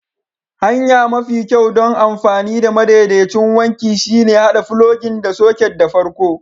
Hanya mafi kyau don amfani da madaidaicin wanki shine haɗa filogin da soket da farko.